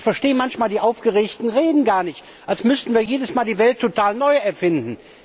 Ich verstehe manchmal die aufgeregten Reden gar nicht, als müssten wir jedes Mal die Welt total neu erfinden.